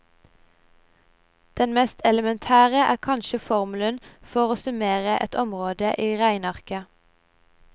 Den mest elementære er kanskje formelen for å summere et område i regnearket.